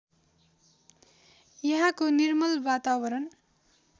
यहाँको निर्मल वातावरण